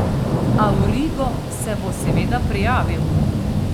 Avrigo se bo seveda prijavil.